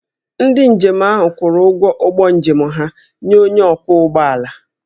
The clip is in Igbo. Ndị njem ahụ kwụrụ ụgwọ ụgbọ njem ha nye onye ọkwọ ụgbọala